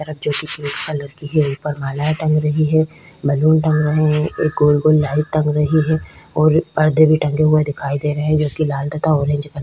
जो कि कलर की हीरे पर माला टंग रही है। बलून टंग रहे है एक गोल-गोल लाइट टंगे रही है और पर्दे भी टंगे हुए दिखाई दे रहे है जो कि लाल तथा ऑरेंज कलर --